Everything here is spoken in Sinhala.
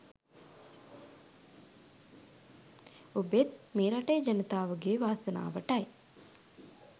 ඔබෙත් මේ රටේ ජනතාවගේ වාසනාවටයි